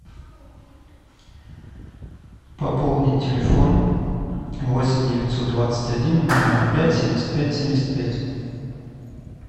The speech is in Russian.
пополнить телефон восемь девятьсот двадцать один ноль ноль пять семьдесят пять семьдесят пять